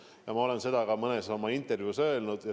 Ja ma olen seda ka mõnes oma intervjuus öelnud.